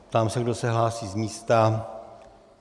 Ptám se, kdo se hlásí z místa.